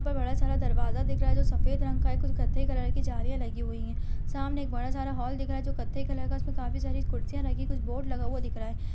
यहाँ पर बड़ा सारा दरवाज़ा दिख रहा है जो सफ़ेद रंग का है। कुछ कत्थई कलर की जालियां लगी हुई हैं। सामने एक बड़ा सारा हॉल दिख रहा है जो कत्थई कलर का है उसपर काफी सारी कुर्सियाँ रखी कुछ बोर्ड लगा हुआ दिख रहा है।